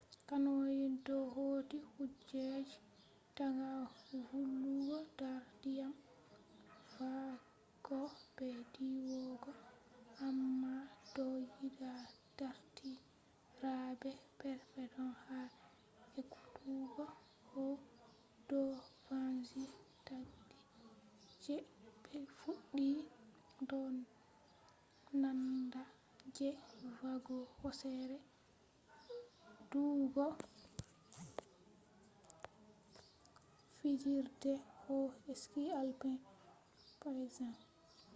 canoying do hauti kujeji daga vulugo dar diyam va’ugo be diwugo—amma do yida dardirabe perpeton ha ekkutugo koh do vangi takdi je be fuddi do nanda je va’ugo hosere do’ugo fijirde koh alpine skiing je example